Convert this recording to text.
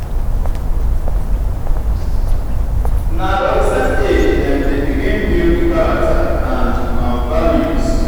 na adolescent age dem dey begin build character and um values.